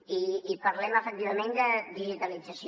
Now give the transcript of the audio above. i parlem efectivament de digitalització